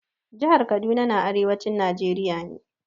Jihar Kaduna na arewacin Najeriya ne.